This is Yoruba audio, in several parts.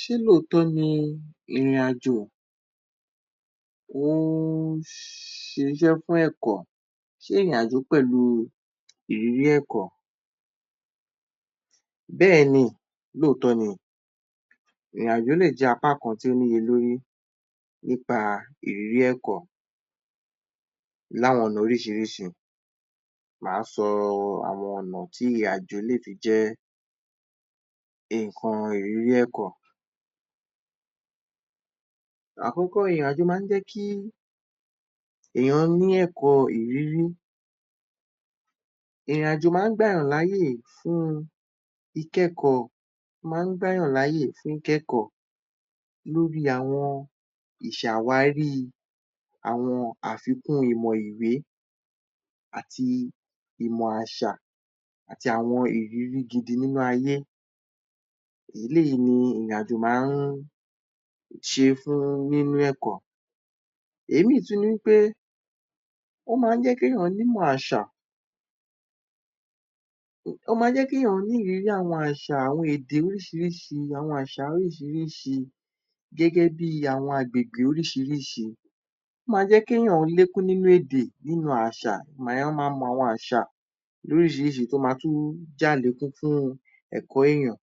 Ṣé lóòtọ́ ni ìrìnàjò, ó ṣiṣẹ́ fún ẹ̀kọ́, ṣé ìrìnàjò ṣiṣẹ́ pẹ̀lu ìrírí ẹ̀kọ́? Bẹ́ẹ̀ni lóòtọ́ ni o, ìrìnàjò lè jẹ́ apá kan tí ó ní iye lórí nípa ìrírí ẹ̀kọ́ ní àwọn ọ̀nà oríṣìíríṣìí, máa sọ àwọn ọ̀nà tí ìrìnàjò lè fi jẹ́ ǹnkan ìrírí ẹ̀kọ́. Àkọ́kọ́, ìrìnàjò máa ń jẹ́ kí èèyàn ní ẹ̀kọ́ ìrírí, ìrìnàjò máa ń gba èèyàn láyè fún ìkẹ́kọ̀ọ́, ó máa ń gba èèyàn láyè fún ìkẹ́kọ̀ọ́ lórí àwọn ìṣe àwárí àwọn àfikún ìmọ̀ ìwé àti ìmọ̀ àṣà àti àwọn ìrírí gidi nínú ayé, eléyìí ni ìrìnàjò máa ń ṣe fún níní ẹ̀kọ́, òmíràn tún ni wí pé, ó máa ń jẹ́ kí èèyàn ní ìmọ̀ àṣà, ó máa ń jẹ́ kí èèyàn ní ìrírí àwọn àṣà, àwọn èdè oríṣìíríṣìí, àwọn àṣà oríṣìíríṣìí gẹ́gẹ́ bi àwọn agbègbè oríṣìíríṣìí. Ó máa ń jẹ́ kí èèyàn lékún nínú èdè, nínú àṣà, èèyàn máa mọ àwọn àṣà lóríṣìíríṣìí tó máa tún jẹ́ àlékún fún ẹ̀kọ́ èèyàn,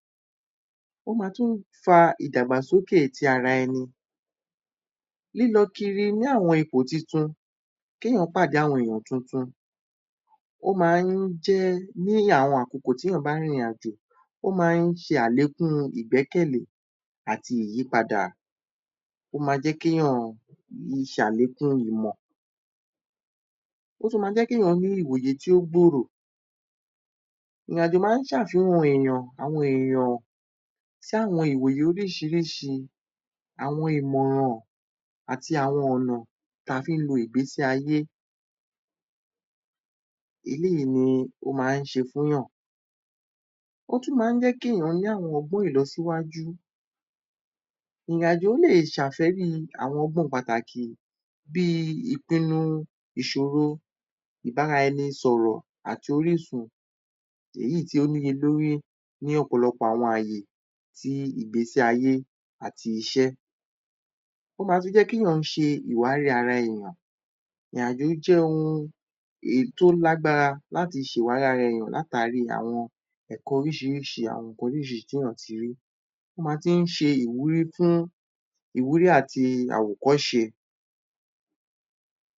ó máa ń tún fa ìdàgbàsókè ti ara ẹni, lílọ kiri ní àwọn ipò tuntun, kí èèyàn pádé àwọn èèyàn tuntun, ó máa ń jẹ́ ni àwọn àkókò tí wọ́n bá rin ìrìnàjò, ó máa ń ṣe àlékún ìgbẹ́kẹ̀lẹ́ àti ìyípadà, ó máa jẹ́ kí èèyàn ṣe àlékún ìmọ̀, ó tún máa jẹ́ kí èèyàn ní ìwòyè tí ó gbòrò, ìrìnàjò máa ń ṣe àfihàn èèyàn, àwọn èèyàn, sí àwọn ìwòye lóríṣìíríṣìí, àwọn ìmọ̀ràn àti àwọn ọ̀nà tí a fi ń lo ìgbésí-ayé, eléyìí ni ó máa ń ṣe fún èèyàn. Ó tún máa ń jẹ́ kí èèyàn ní àwọn ọgbọ́n ìlọsíwájú, ìrìnàjò lè ṣe àfẹ́rí àwọn ọgbọ́n pàtàkì bí i ìpinu, ìṣòro, ìbáraẹni sọ̀rọ̀ àti orísun, èyí tí ó ní iye lórí ní ọ̀pọ̀lọpọ̀ àwọn àyè tí ìgbésí-ayé àti iṣẹ́. Ó máa tún jé kí èèyàn ṣe ìwárí ara èèyàn, ìrìnàjò jẹ́ ohun tó lágbára láti ṣe ìwárí ara èèyàn látàri àwọn ẹ̀kọ́ oríṣìíríṣìí, àwọn ẹ̀kọ́ oríṣìírísìí tí èèyàn ti rí, ó máa tún ṣe ìwúrí fún, ìwúrí àti àwòkọ́ṣe.